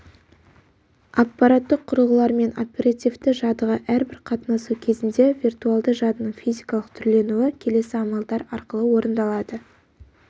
аппараттық құрылғылармен оперативті жадыға әрбір қатынасу кезінде виртуалды жадының физикалық түрленуі келесі амалдар арқылы орындалады